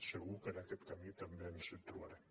segur que en aquest camí també ens hi trobarem